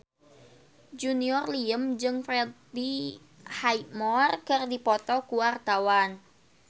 Junior Liem jeung Freddie Highmore keur dipoto ku wartawan